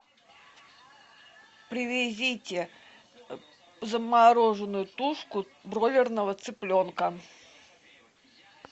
привезите замороженную тушку бройлерного цыпленка